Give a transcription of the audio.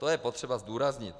To je potřeba zdůraznit.